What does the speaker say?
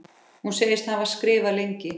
Hún segist hafa skrifað lengi.